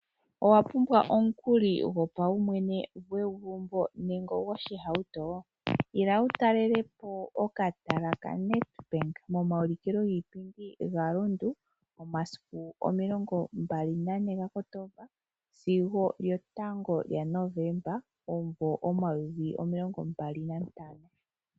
Owapumbwa omukali gopaumwene, gwegumbo nenge ogwohauto ? Ila wu talelepo okatala kaNedbank momaulikilo giipindi ga Rundu momasiku omilongombali nane ga Kotomba sigo kyotango lya Novemba omumvo omayovi omilongombali nantano.